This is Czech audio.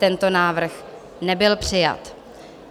Tento návrh nebyl přijat.